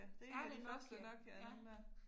Er det en Nokia? Ja